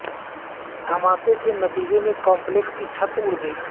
دھماکے کے نتیجے میں کمپلیکس کی چھت اڑ گئی